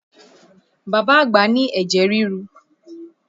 Bàbá àgbà ní ẹ̀jẹ̀ rirú